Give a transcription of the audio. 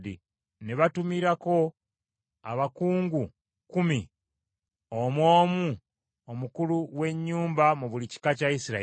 Ne batumirako abakungu kkumi, omu omu omukulu w’ennyumba mu buli kika kya Isirayiri.